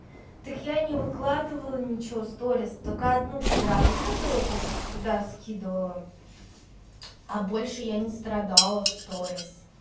так я не выкладывала ничего сторис только одну вчера выложила то что сюда скидывала а больше я не страдала в сторис